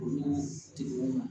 Ni tigiw ma